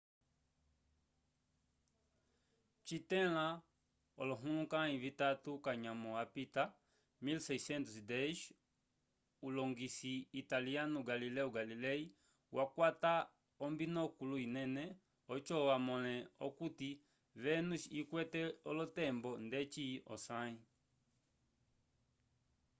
citẽla olohulukãyi vitatu k'anyamo apita 1610 ulongisi italiyanu galileo galilei wakwata ombinokulu inene oco amõle okuti vénus ikwete olotembo ndeci osãyi